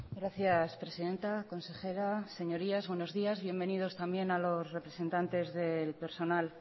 gracias presidenta consejera señorías buenos días bienvenidos también a los representantes del personal